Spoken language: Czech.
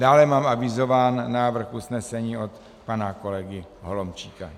Dále mám avizován návrh usnesení od pana kolegy Holomčíka.